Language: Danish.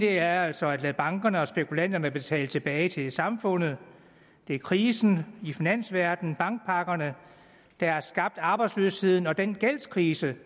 er altså at lade bankerne og spekulanterne betale tilbage til samfundet det er krisen i finansverdenen bankpakkerne der har skabt arbejdsløsheden og den gældskrise